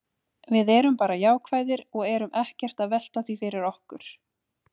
Við erum bara jákvæðir og erum ekkert að velta því fyrir okkur.